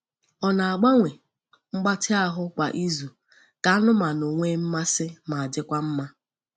Ọ na-agbanwe mgbatị ahụ kwa izu ka anụmanụ nwee mmasị ma dịkwa mma.